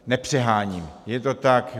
Nepřeháním, je to tak.